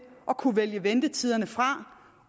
at kunne vælge ventetiderne fra